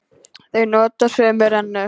Þau nota sömu rennu.